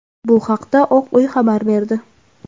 Bu haqda Oq uy xabar berdi.